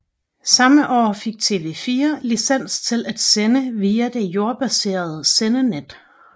Samme år fik TV 4 licens til at sende via det jordbaserede sendenet